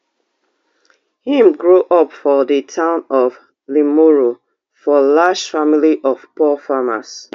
im grow up for di town of limuru for large family of poor farmers